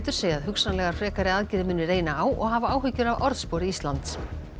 segja að hugsanlegar frekari aðgerðir muni reyna á og hafa áhyggjur af orðspori Íslands